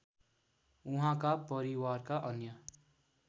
उहाँका परिवारका अन्य